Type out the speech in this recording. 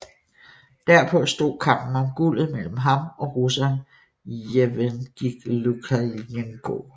Derpå stod kampen om guldet mellem ham og russeren Jevgenij Lukjanenko